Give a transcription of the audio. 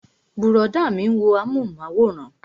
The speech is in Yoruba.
Brọ̀dá mi ń wo amúhùnmáwòrán